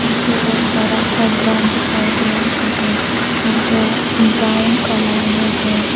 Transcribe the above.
मुझे एक बरा सा ग्राउंड दिखाई दे रही है जो ब्राउन कलर में है।